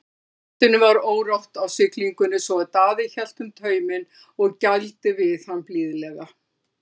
Hestinum var órótt á siglingunni svo Daði hélt um tauminn og gældi við hann blíðlega.